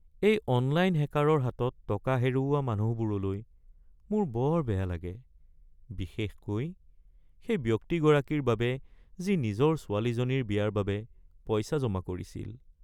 এই অনলাইন হেকাৰৰ হাতত টকা হেৰুওৱা মানুহবোৰলৈ মোৰ বৰ বেয়া লাগে, বিশেষকৈ সেই ব্যক্তিগৰাকীৰ বাবে যি নিজৰ ছোৱালীজনীৰ বিয়াৰ বাবে পইচা জমা কৰিছিল। (বন্ধু ১)